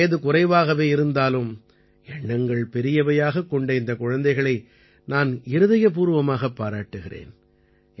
வயது குறைவாகவே இருந்தாலும் எண்ணங்கள் பெரியவையாகக் கொண்ட இந்தக் குழந்தைகளை நான் இருதயபூர்வமாகப் பாராட்டுகிறேன்